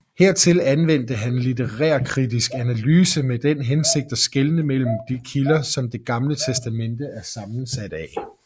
Hertil anvendte han litterærkritisk analyse med den hensigt at skelne mellem de kilder som Det Gamle Testamente er sammensat af